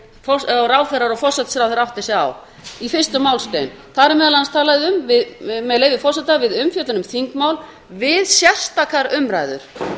og ráðherrar og forsætisráðherra átti sig á í fyrstu málsgrein þar er meðal annars talað um með leyfi forseta við umfjöllun um þingmál við sérstakar umræður